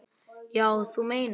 Já, þú meinar.